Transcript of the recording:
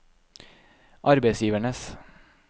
arbeidsgivernes